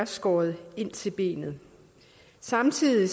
skåret ind til benet samtidig